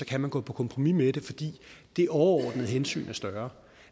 kan gå på kompromis med det fordi det overordnede hensyn er større